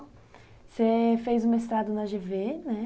Você fez o mestrado na gê vê, né?